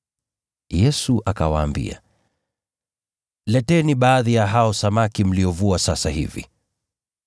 Yesu akawaambia, “Leteni baadhi ya hao samaki mliovua sasa hivi.”